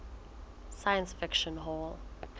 science fiction hall